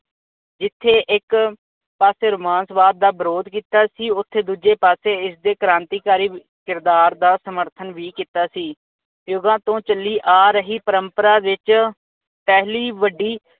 ਜਿਥੇ ਇੱਕ ਪਾਸੇ ਰੋਮਾਂਸਵਾਦ ਦਾ ਵਿਰੋਧ ਕੀਤਾ ਸੀ ਓਥੇ ਦੂਜੇ ਪਾਸੇ ਇਸਦੇ ਕ੍ਰਾਂਤੀਕਾਰੀ ਕਿਰਦਾਰ ਦਾ ਸਮਰਥਨ ਵੀ ਕੀਤਾ ਸੀ। ਯੁੱਗਾਂ ਤੋਂ ਚਲੀ ਆ ਰਹੀ ਪ੍ਰੰਪਰਾ ਵਿਚ ਪਹਿਲੀ ਵੱਡੀ